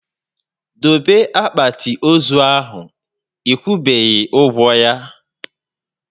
Dobe akpati ozu ahụ! Ekwubeghi ụgwọ ya